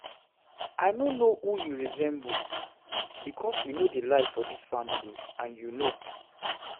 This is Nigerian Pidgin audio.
I no know who you resemble because we no dey lie for dis family and you know